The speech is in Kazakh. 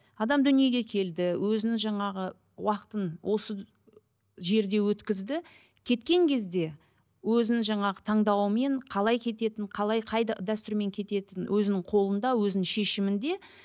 адам дүниеге келді өзін жаңағы уақытын осы жерде өткізді кеткен кезде өзінің жаңағы таңдауымен қалай кететінін қалай қайда дәстүрімен кетеін өзінің қолында өзінің шешімінде